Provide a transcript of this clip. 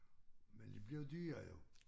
Men de blev dyre jo